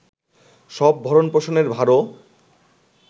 সব ভরণ পোষণের ভারও